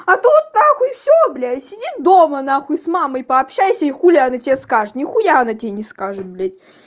а тут на хуй все блять сиди дома на хуй с мамой пообщайся и хули она тебе скажет нихуя она тебе не скажет блять